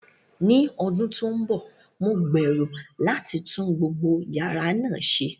Ní ọdún tó ń bọ̀, mo gbèrò láti tún gbogbo yàrá náà ṣe.